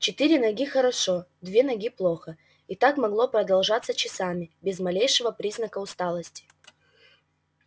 четыре ноги хорошо две ноги плохо и так могло продолжаться часами без малейшего признака усталости